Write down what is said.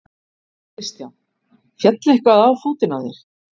Kristján: Féll eitthvað á fótinn á þér?